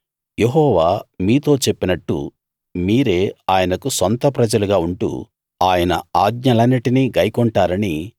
యెహోవా మీతో చెప్పినట్టు మీరే ఆయనకు సొంత ప్రజలుగా ఉంటూ ఆయన ఆజ్ఞలన్నిటినీ గైకొంటారని